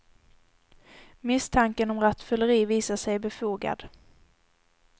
Misstanken om rattfylleri visade sig befogad.